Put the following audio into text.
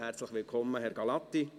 Herzlich willkommen, Herr Gallati.